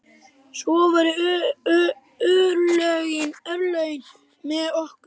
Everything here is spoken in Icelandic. Svo voru örlögin með okkur.